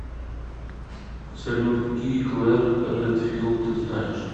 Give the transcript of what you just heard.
салют какие клэр редфилд ты знаешь